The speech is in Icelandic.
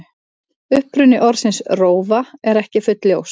Uppruni orðsins rófa er ekki fullljós.